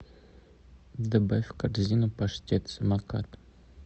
добавь в корзину паштет самокат